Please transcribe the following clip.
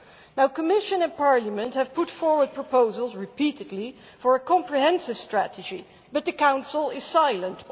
The Commission and Parliament have put forward proposals repeatedly for a comprehensive strategy, but the Council is silent.